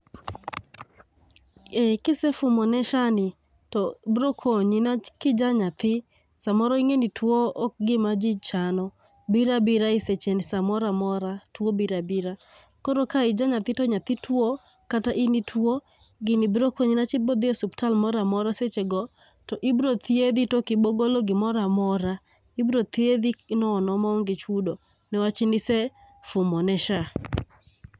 Eh kise fumone SHA ni, to brokonyi. Newach kija naythi samoro ing'eni two ok gima jii chano, bira bira e seche n samoramora two bira bira. Koro ka ija nyathi to nyathi two kata in itwo gini brokonyi ne wach ibrodhie suptal mora mora seche go to ibro thiedhi tokibogolo gimora mora. Ibro thiedhi nono maonge chudo newach nise fumo ne SHA.